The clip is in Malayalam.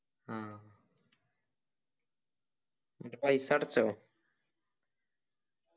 അഹ് എന്നിട്ട് പൈസ അടച്ചോ